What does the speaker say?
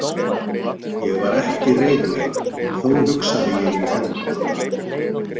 Ég var ekki reiður en þó hugsaði ég um hefnd.